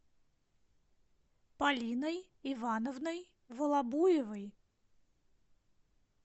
полиной ивановной волобуевой